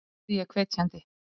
spurði ég hvetjandi.